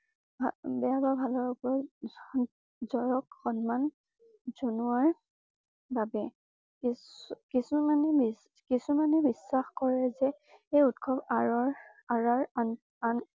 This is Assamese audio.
বেয়া বা ভালৰ উপৰত জয়ক সন্মান জনোৱাৰ বাবে। কিছকিছুমানে কিছুমানে বিশ্বাস কৰে যে এই উৎসৱ আঁৰৰ আঁৰৰ আন আন